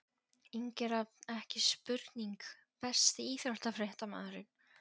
Ingi Rafn, ekki spurning Besti íþróttafréttamaðurinn?